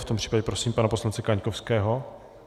V tom případě prosím pana poslance Kaňkovského.